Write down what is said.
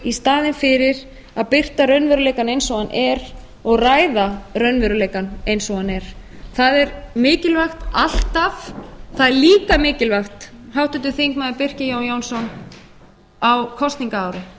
í staðinn fyrir að birta raunveruleikann eins og hann er og ræða raunveruleikann eins og hann er það er mikilvægt alltaf það er líka mikilvægt háttvirtur þingmaður birkir jón jónsson á kosningaári